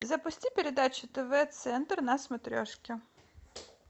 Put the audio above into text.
запусти передачу тв центр на смотрешке